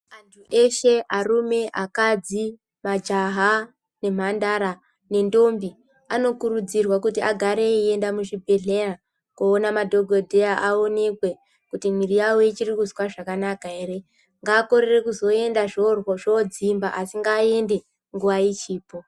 Antu ese arume, akadzi, majaha nemhandara nendondi anokurudzirwa kuti agare echienda muzvibhedhlera kunoona madhokodheya aonekwe kuti miviri yavo ichiri kunzwa zvakanaka here ngaakone kuzoenda zvodzimba asi ngaaende nguva ichipo.